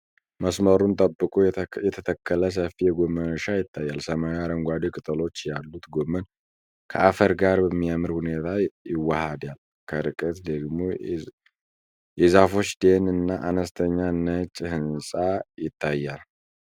መስመሩን ጠብቆ የተተከለ ሰፊ የጎመን እርሻ ይታያል። ሰማያዊ አረንጓዴ ቅጠሎች ያሉት ጎመን ከአፈር ጋር በሚያምር ሁኔታ ይዋሃዳል፤ ከርቀት ደግሞ የዛፎች ደን እና አነስተኛ ነጭ ህንጻ ይታያል።